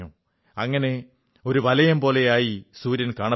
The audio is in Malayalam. അങ്ങനെ ഒരു വലയം പോലെ ആയി സൂര്യൻ കാണപ്പെടുന്നു